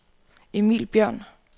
Emil Bjørn